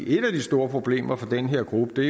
et af de store problemer for den her gruppe